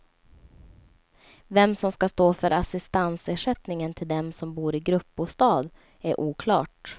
Vem som ska stå för assistansersättningen till dem som bor i gruppbostad är oklart.